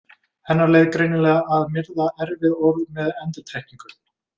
Hennar leið greinilega að myrða erfið orð með endurtekningu.